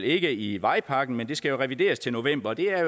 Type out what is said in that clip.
ikke i vejpakken men det skal jo revideres til november og det er